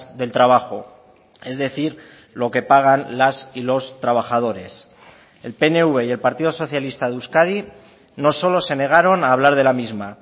del trabajo es decir lo que pagan las y los trabajadores el pnv y el partido socialista de euskadi no solo se negaron a hablar de la misma